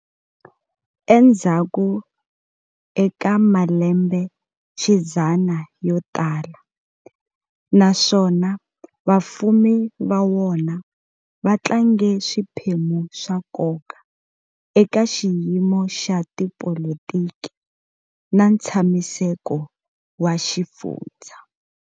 Endzhaku eka malembe xidzana yo tala, naswona vafumi va wona va tlange swiphemu swa nkoka eka xiyimo xa tipolitiki na ntshamiseko wa xifundzha.